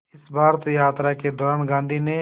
इस भारत यात्रा के दौरान गांधी ने